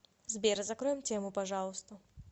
сбер закроем тему пожалуйста